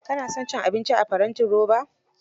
Ka na son cin abinci a farantin roba?